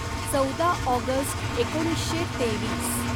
चौदा ऑगस्ट एकोणीसशे तेवीस